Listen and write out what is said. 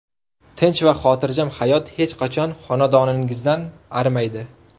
Tinch va xotirjam hayot hech qachon xonadoningizdan arimaydi!